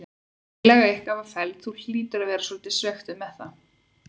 Tillaga ykkar var felld, þú hlýtur að vera svolítið svekktur með það?